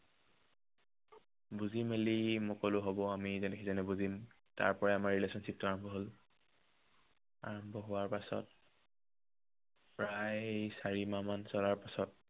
বুজি মেলি, মই ক'লো হব আমি ইজনে সিজনক বুজিম। তাৰ পৰাই আমাৰ relationship টো আৰম্ভ হল। আৰম্ভ হোৱাৰ পাছত প্ৰায় চাৰি মাহ মান চলাৰ পাছত